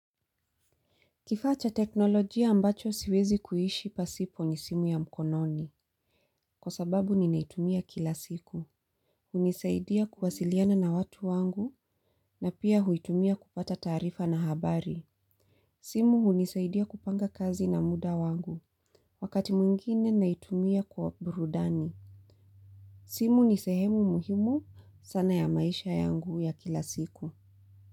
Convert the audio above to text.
Kifaa cha teknolojia ambacho siwezi kuishi pasipo ni simu ya mkononi. Kwa sababu ninaitumia kila siku. Hunisaidia kuwasiliana na watu wangu na pia huitumia kupata taarifa na habari. Simu hunisaidia kupanga kazi na muda wangu. Wakati mwingine naitumia kwa burudani. Simu nisehemu muhimu sana ya maisha yangu ya kila siku.